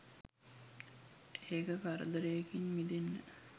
ඒක කරදරේකින් මිදෙන්න